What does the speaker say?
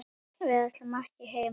Við ætlum ekki heim!